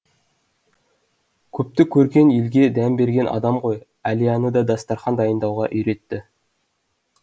көпті көрген елге дәм берген адам ғой әлияны да дастархан дайындауға үйретті